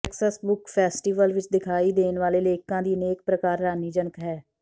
Texas book festival ਵਿੱਚ ਦਿਖਾਈ ਦੇਣ ਵਾਲੇ ਲੇਖਕਾਂ ਦੀ ਅਨੇਕ ਪ੍ਰਕਾਰ ਹੈਰਾਨੀਜਨਕ ਹੈ